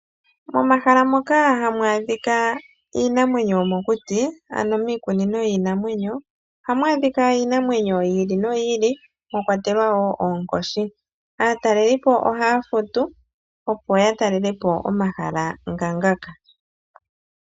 Momahala. moka hamu adhika iinamwenyo yomokuti ano miikunino yiinamwenyo oha mu adhika iinamwenyo yi ili no yi ili mwa kwatelwa wo oonkoshi. Aatalelipo oha ya futu opo ya talelepo omahala ngaashi ngaka.